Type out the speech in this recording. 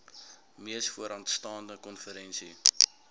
mees vooraanstaande konferensie